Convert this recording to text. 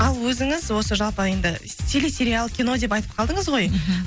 ал өзіңіз осы жалпы енді стили сериал кино деп айтып қалдыңыз ғой мхм